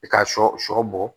I ka sɔ sɔ bɔ